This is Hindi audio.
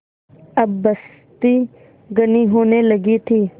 अब बस्ती घनी होने लगी थी